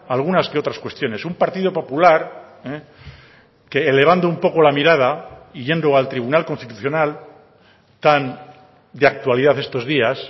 algunas que otras cuestiones un partido popular que elevando un poco la mirada y yendo al tribunal constitucional tan de actualidad estos días